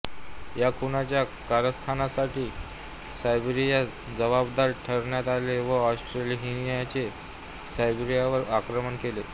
या खुनाच्या कारस्थानासाठी सर्बियास जबाबदार ठरवण्यात आले व ऑस्ट्रियाहंगेरीने सर्बियावर आक्रमण केले